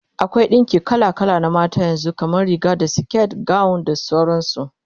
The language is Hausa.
akwai ɗinki kala kala na zamani, kamar Riga da siket, gawon da sauransu